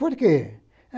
Por quê?